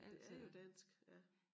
Det er jo dansk ja